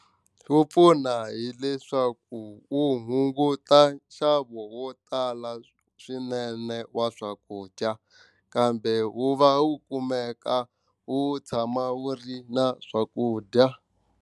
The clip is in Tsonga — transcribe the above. Wu pfuna hileswaku wu hunguta nxavo wo tala swinene wa swakudya kambe wu va wu kumeka wu tshama wu ri na swakudya.